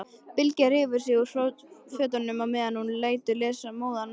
Bylgja rífur sig úr fötunum meðan hún lætur móðan mása.